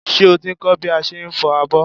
Ṣé o ti ń kọ́ bí a ṣe ń fọ abọ́?